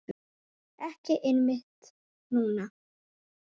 Ekki einmitt núna.